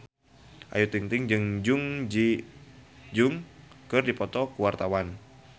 Ayu Ting-ting jeung Jun Ji Hyun keur dipoto ku wartawan